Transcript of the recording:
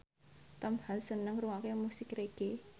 Tom Hanks seneng ngrungokne musik reggae